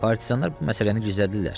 Partizanlar bu məsələni gizlədirlər.